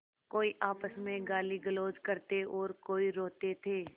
कोई आपस में गालीगलौज करते और कोई रोते थे